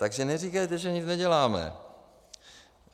Takže neříkejte, že nic neděláme.